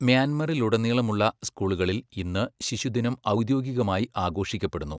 മ്യാൻമറിലുടനീളമുള്ള സ്കൂളുകളിൽ ഇന്ന് ശിശുദിനം ഔദ്യോഗികമായി ആഘോഷിക്കപ്പെടുന്നു.